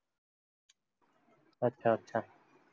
अच्छा अच्छा